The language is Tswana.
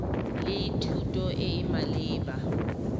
le thuto e e maleba